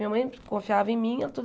Minha mãe confiava em mim. E eu